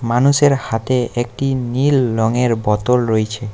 মানুষের হাতে একটি নীল রঙের বোতল রয়েছে।